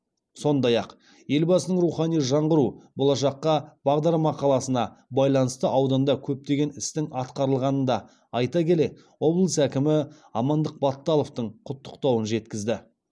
сонай ақ елбасының рухани жаңғыру болашаққа бағдар мақаласына байланысты ауданда көптеген істің атқарылғанын да айта келе облыс әкімі амандық баталовтың құттықтауын жеткізді